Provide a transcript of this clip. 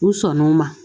U sɔnn'o ma